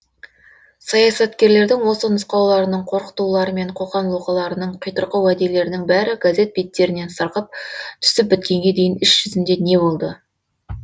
саясаткерлердің осы нұсқауларының қорқытулары мен қоқанлоқыларының қитұрқы уәделерінің бәрі газет беттерінен сырғып түсіп біткенге дейін іс жүзінде не болды